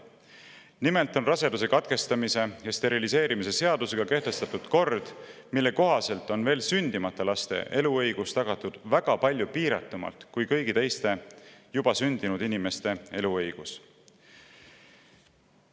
Nimelt on raseduse katkestamise ja steriliseerimise seadusega kehtestatud kord, mille kohaselt on veel sündimata laste eluõigus tagatud palju piiratumalt kui kõigi teiste, juba sündinud inimeste eluõigus.